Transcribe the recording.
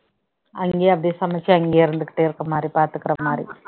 அங்கேயே அப்படி சமைச்சு அங்கேயே இருந்துகிட்டே இருக்கிற மாதிரி பார்த்துக்கிற மாதிரி